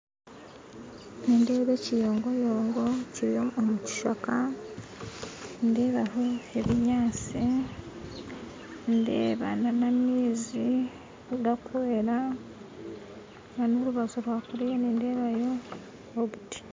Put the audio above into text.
Nindeeba ekinyogoyongo kiri omu kishaka nindeebaho ebinyaatsi ndeeba na n'amaizi gakwera na n'orubaju rwakuriya nindeebayo obuti